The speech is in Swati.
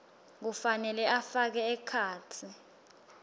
kufanele afake ekhatsi